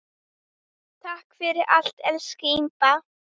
Takk fyrir allt, elsku Imba.